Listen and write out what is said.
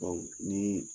Baw ni